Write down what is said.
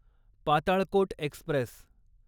Patalkot Express